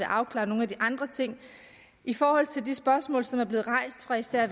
afklaret nogle af de andre ting i forhold til de spørgsmål som er blevet rejst og især